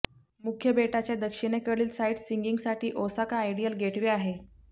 मुख्य बेटाच्या दक्षिणेकडील साईटसिंईंगसाठी ओसाका आयडियल गेटवे आहे